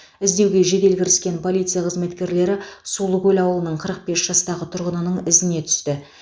іздеуге жедел кіріскен полиция қызметкерлері сулыкөл ауылының қырық бес жастағы тұрғынының ізіне түсті